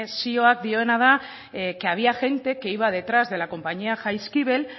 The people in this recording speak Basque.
zioak dioena da que había gente que iba detrás de la compañía jaizkibel